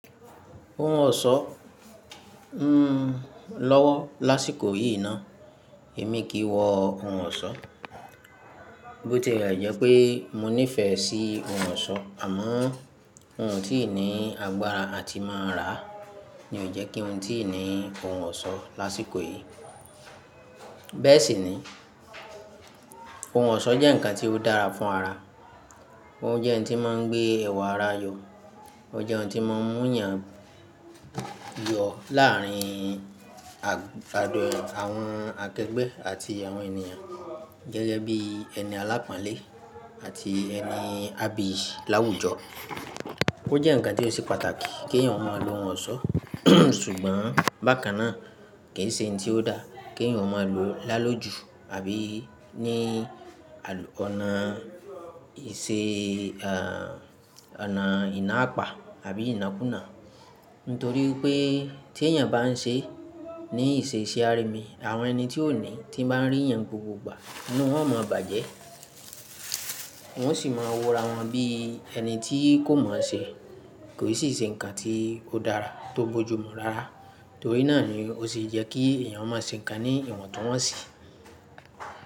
Ohun ọ̀ṣọ́, lọ́wọ́ lásìkò yìí náà èmi kìi nwọ ohun ọ̀ṣọ́, bó tí è jé pé mo nífẹ̀ẹ́ sí ohun ọ̀ṣọ́ àmọ́o un tí ni agbára àti máa rà ni ò jẹ́ kíun ti ni ohun ọ̀ṣọ́ lásìkò yìí. Bẹ́ẹ̀ sì ni, ohun ọ̀ṣọ́ jẹ́ nǹkan tí ó dára fún ara, ó jẹ́ ohun tí máa ń gbé ẹwà ara yọ, ó jẹ́ ohun tí máa ń mú yàn yọ láàrin, àwọn akẹgbẹ́ àti àwọn ènìyàn gẹ́gẹ́ bí ẹni aláponle àti ẹni abiyi láwùjọ. Ó jẹ́ nǹkan tí ó ṣe pàtàkì kí ènìyàn máa lo ohun ọ̀ṣọ́ ṣùgbọ́n bákan náà kìí ṣe nǹkan tí ó dáa kí ènìyàn máa lo lá lójú àbí ní àlọ́, ọ̀nà ìṣe, ẹ́, ọ̀nà ìná apa àbí ìnákùná. Nítorí pé tí ènìyàn bá ń ṣe ní ìṣe ìṣe arìmi àwọn ẹni tí òní tí nbá ń ríyàn gbogbogbà inú wọn o máa bàjẹ́, wọ́n sì máa wòra wọn bí ẹni tí kò mọ̀ọ́ṣẹ̀, kò sì ṣe nǹkan tí ó dára tó bójú mu rara. Nítorí náà ni ó se yẹ́ kí ènìyàn máa ṣe nǹkan ní ìwọ̀ntúnwọ̀nsì.